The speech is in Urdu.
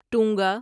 ٹونگا